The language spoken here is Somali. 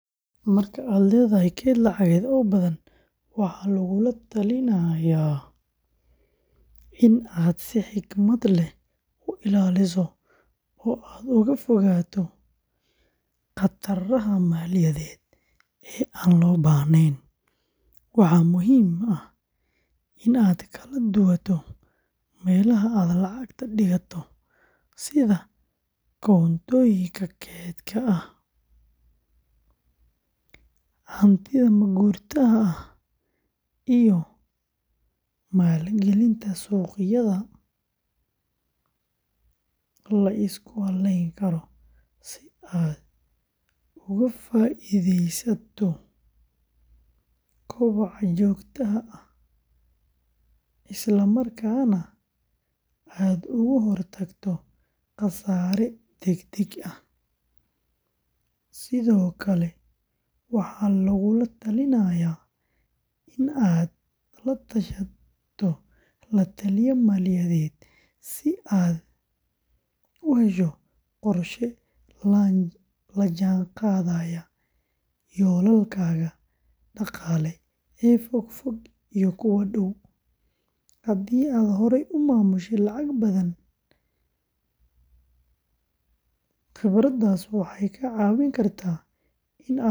Marka aad leedahay kayd lacageed oo badan, waxaa lagula talinayaa in aad si xikmad leh u ilaaliso oo aad uga fogaato khataraha maaliyadeed ee aan loo baahnayn; waxaa muhiim ah in aad kala duwato meelaha aad lacagta dhigato sida koontooyinka kaydka ah, hantida ma-guurtada ah, iyo maalgelinta suuqyada la isku halleyn karo si aad uga faa'iidaysato koboca joogtada ah, isla markaana aad uga hortagto khasaare degdeg ah; sidoo kale waxaa lagula talinayaa in aad la tashato la-taliye maaliyadeed si aad u hesho qorshe la jaan qaadaya yoolalkaaga dhaqaale ee fog iyo kuwa dhow; haddii aad horay u maamushay lacag badan, khibraddaas waxay kaa caawin kartaa in aad ka fogaato khaladaad.